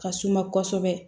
Ka suma kosɛbɛ